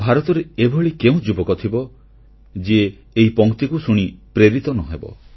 ଭାରତରେ ଏଭଳି କେଉଁ ଯୁବକ ଥିବ ଯିଏ ଏହି ପଂକ୍ତିକୁ ଶୁଣି ପ୍ରେରିତ ନ ହେବ